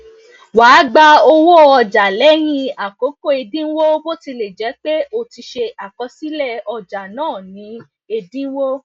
wà gba owó ọjà lẹyìn akoko ẹdínwó botilejepe o ti se àkọsílẹ ọjà náa ní ẹdínwó